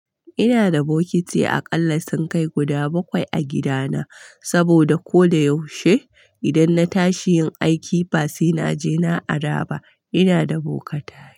Ina da bokiti akalla sunkai guda bakwai a gidana saboda koda yaushe idan na tashi yin aiki ba sai na je na ara ba ina da boka tare.